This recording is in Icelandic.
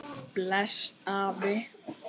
Bless afi.